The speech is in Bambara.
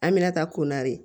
An bɛna taa konda de